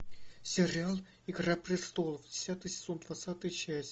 сериал игра престолов десятый сезон двадцатая часть